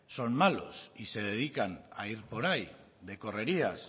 son malos y se dedican a ir por ahí de correrías